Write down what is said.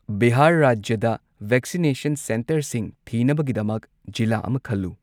ꯕꯤꯍꯥꯔ ꯔꯥꯖ꯭ꯌꯗ ꯚꯦꯛꯁꯤꯅꯦꯁꯟ ꯁꯦꯟꯇꯔꯁꯤꯡ ꯊꯤꯅꯕꯒꯤꯗꯃꯛ ꯖꯤꯂꯥ ꯑꯃ ꯈꯜꯂꯨ꯫